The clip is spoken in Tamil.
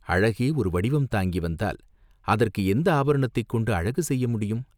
அழகே ஒரு வடிவம் தாங்கி வந்தால், அதற்கு எந்த ஆபரணத்தைக் கொண்டு அழகு செய்ய முடியும்?